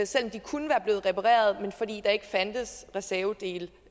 selv om de kunne være blevet repareret fordi der ikke fandtes reservedele